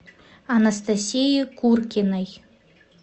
анастасии куркиной